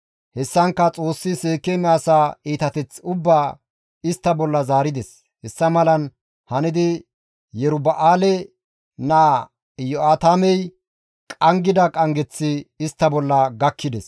Hessankka Xoossi Seekeeme asaa iitateth ubbaa istta bolla zaarides; hessa malan hanidi Yeruba7aale naa Iyo7aatamey qanggida qanggeththi istta bolla gakkides.